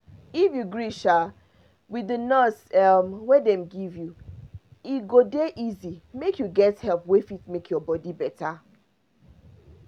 if you gree um with the nurse um wey dem give you e go dey easy make you get help wey fit make your body better.